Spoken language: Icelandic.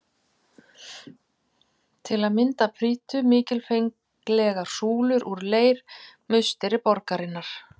Til að mynda prýddu mikilfenglegar súlur úr leir musteri borgarinnar.